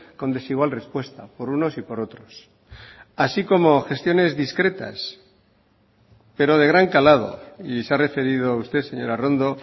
con desigual respuesta por unos y por otros así como gestiones discretas pero de gran calado y se ha referido usted señora arrondo